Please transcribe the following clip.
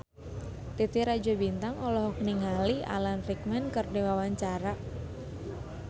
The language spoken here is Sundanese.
Titi Rajo Bintang olohok ningali Alan Rickman keur diwawancara